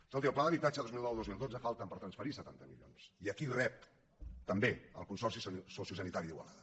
escolti al pla d’habitatge dos mil noudos mil dotze falten per transferir setanta milions i aquí rep també el consorci sociosanitari d’igualada